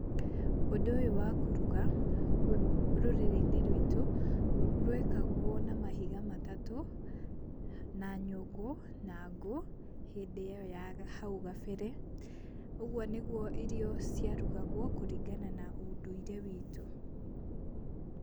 Ũndũ ũyũ wa kũruga rũrĩrĩ-inĩ ruitũ rwekagwo na mahiga matatũ, na nyũngũ na ngũ hindĩ ĩyo ya hau gabere ũguo nĩguo irio cia rugagwo kũrigana na ũndũire witũ.